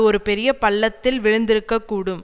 ஒரு பெரிய பள்ளத்தில் விழுந்திருக்கக் கூடும்